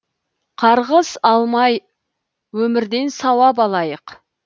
қарғыс алмай өмірден сауап алайық